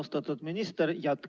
Austatud minister!